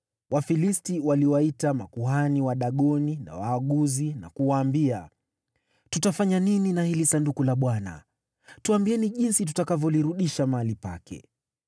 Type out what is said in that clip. Wafilisti waliwaita makuhani wa Dagoni na waaguzi, na kuwaambia, “Tutafanya nini na hili Sanduku la Bwana ? Tuambieni jinsi tutakavyolirudisha mahali pake.”